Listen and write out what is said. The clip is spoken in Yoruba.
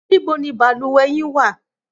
Níbo ni balùwẹ̀ yín wà?